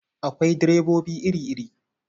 Akwai direbobi iri-iri.